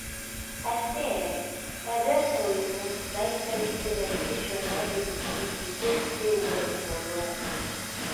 i say eeh my doctor you know na tell me say meditation na in be the key to take stay well for long